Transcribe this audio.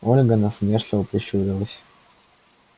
ольга насмешливо прищурилась